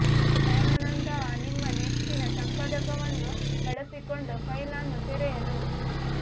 nano ನಂತಹ ನಿಮ್ಮ ನೆಚ್ಚಿನ ಸಂಪಾದಕವನ್ನು ಬಳಸಿಕೊಂಡು ಫೈಲ್ ಅನ್ನು ತೆರೆಯಲು